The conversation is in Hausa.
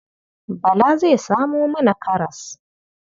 Bala zai samo mana karas.